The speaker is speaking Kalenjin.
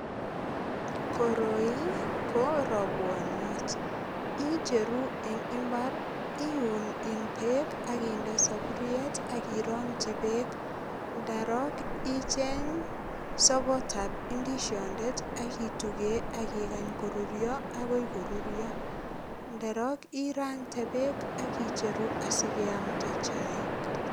Koroi ko robwoniot, icheru eng imbar iun eng beek ak inde saburiet ak irongchi beek. Ndarok icheng sogotab indisiondet ak ituge ak ikany korurio ak agoi korurio. Ndorok irande beek ak icheru asiamnde chaik.